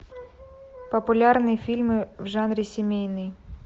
популярные фильмы в жанре семейный